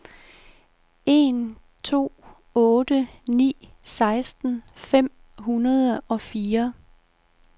en to otte ni seksten fem hundrede og fire